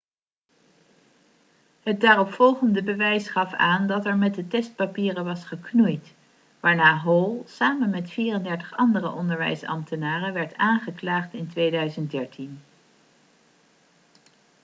het daaropvolgende bewijs gaf aan dat er met de testpapieren was geknoeid waarna hall samen met 34 andere onderwijsambtenaren werd aangeklaagd in 2013